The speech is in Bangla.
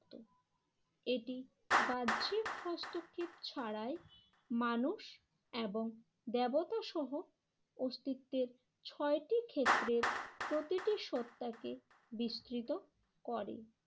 এটি বাহ্যিক হস্তক্ষেপ ছাড়াই মানুষ এবং দেবতা সহ অস্তিত্বের ছয়টি ক্ষেত্রের প্রতিটি সত্তাকে বিস্তৃত করে।